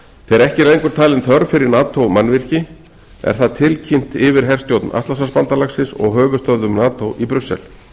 þegar ekki er lengur talin þörf fyrir nato mannvirki er það tilkynnt yfirherstjórn atlantshafsbandalagsins og höfuðstöðvum nato í brussel